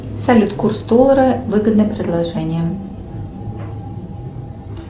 салют курс доллара выгодное предложение